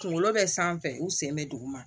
Kunkolo bɛ sanfɛ u sen bɛ duguma